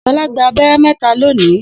Shola gba abẹ́rẹ́ mẹ́ta lónìí.